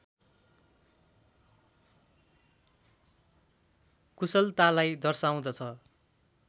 कुशलतालाई दर्शाउँदछ।